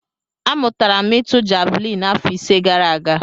Amụtara m ịtụ javelin afọ ise gara aga.